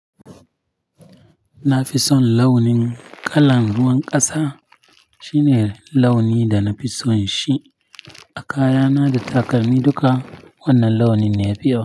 Na fi son launin kalan ruwan ƙasa, shine launi da na fi son shi a kayana da takalmi duka wannan launin ya fi yawa.